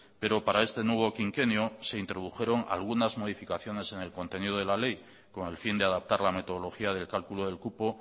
pero para este nuevo quinquenio se introdujeron algunas modificaciones en el contenido de la ley con el fin de adaptar la metodología del cálculo del cupo